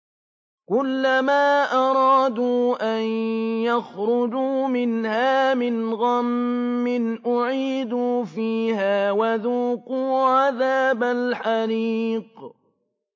كُلَّمَا أَرَادُوا أَن يَخْرُجُوا مِنْهَا مِنْ غَمٍّ أُعِيدُوا فِيهَا وَذُوقُوا عَذَابَ الْحَرِيقِ